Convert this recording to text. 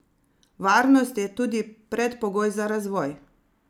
Varnost je tudi predpogoj za razvoj.